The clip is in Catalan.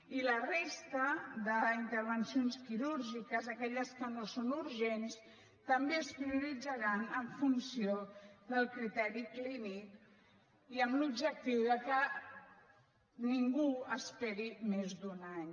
i la resta d’intervencions quirúrgiques aquelles que no són urgents també es prioritzaran en funció del criteri clínic i amb l’objectiu que ningú esperi més d’un any